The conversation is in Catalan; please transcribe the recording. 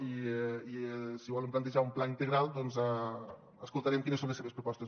i si volen plantejar un pla integral escoltarem quines són les seves propostes